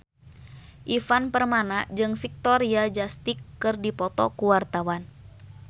Ivan Permana jeung Victoria Justice keur dipoto ku wartawan